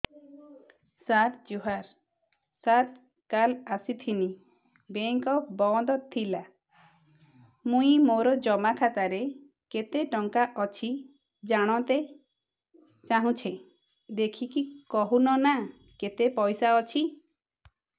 ସାର ଜୁହାର ସାର କାଲ ଆସିଥିନି ବେଙ୍କ ବନ୍ଦ ଥିଲା ମୁଇଁ ମୋର ଜମା ଖାତାରେ କେତେ ଟଙ୍କା ଅଛି ଜାଣତେ ଚାହୁଁଛେ ଦେଖିକି କହୁନ ନା କେତ ପଇସା ଅଛି